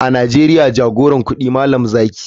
A nigeria jagoran kudi malam zaki.